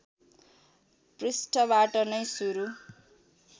पृष्ठबाट नै सुरू